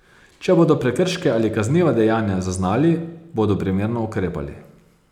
Če bodo prekrške ali kazniva dejanja zaznali, bodo primerno ukrepali.